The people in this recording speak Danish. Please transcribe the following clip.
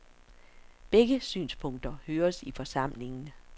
Begge synspunkter høres i forsamlingen.